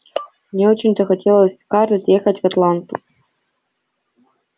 не очень-то хотелось скарлетт ехать в атланту